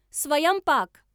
स्वयंपाक